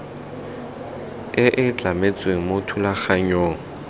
e e tlametsweng mo thulaganyong